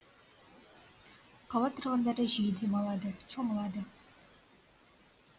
қала тұрғындары жиі демалады шомылады